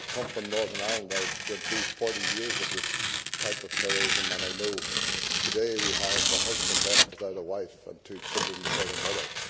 As I come from Northern Ireland, I went through 40 years of this type of terrorism, and I know that today we have a husband left without a wife, and two children without a mother.